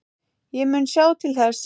Ég mun sjá til þess.